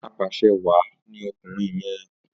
Apàṣẹwàá ni ọkùnrin yẹn.